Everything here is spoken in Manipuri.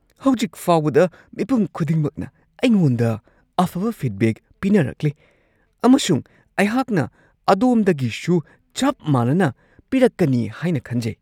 ꯍꯧꯖꯤꯛ ꯐꯥꯎꯕꯗ ꯃꯤꯄꯨꯝ ꯈꯨꯗꯤꯡꯃꯛꯅ ꯑꯩꯉꯣꯟꯗ ꯑꯐꯕ ꯐꯤꯗꯕꯦꯛ ꯄꯤꯅꯔꯛꯂꯤ ꯑꯃꯁꯨꯡ ꯑꯩꯍꯥꯛꯅ ꯑꯗꯣꯝꯗꯒꯤꯁꯨ ꯆꯞ ꯃꯥꯟꯅꯅ ꯄꯤꯔꯛꯀꯅꯤ ꯍꯥꯏꯅ ꯈꯟꯖꯩ ꯫ (ꯔꯦꯁꯇꯨꯔꯦꯟ ꯃꯦꯟꯦꯖꯔ)